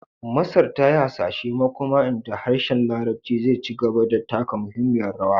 Masar ta yi hasashen makoma inda harshen Larabci zai ci gaba da taka muhimmiyar rawa